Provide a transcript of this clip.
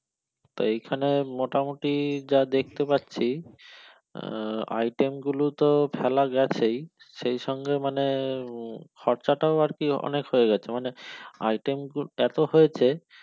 তো এইখানে মোটামুটি যা দেখতে পাচ্ছি আহ item গুলো তো ফেলা গেছেই সেই সঙ্গে মানে খরচাটাও আর কি অনেক হয়ে গেছে মানে item গুলো এত হয়েছে